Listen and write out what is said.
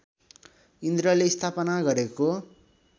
इन्द्रले स्थापना गरेको